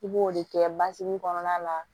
I b'o de kɛ basigi kɔnɔna la